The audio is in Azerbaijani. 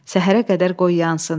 Səhərə qədər qoy yansın.